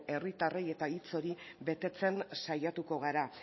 herritarrei eta hitz hori betetzen saiatuko gara